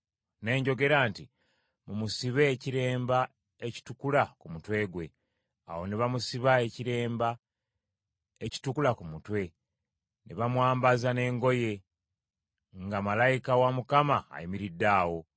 Ne njogera nti, “Mumusibe ekiremba ekitukula ku mutwe gwe.” Awo ne bamusiba ekiremba ekitukula ku mutwe, ne bamwambaza n’engoye, nga malayika wa Mukama ayimiridde awo.